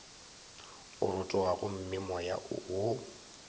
a rotoga gomme moya wo